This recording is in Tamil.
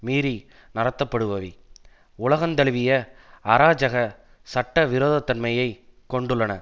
மீறி நடத்தப்படுபவை உலகந்தழுவிய அராஜக சட்ட விரோதத்தன்மையை கொண்டுள்ளன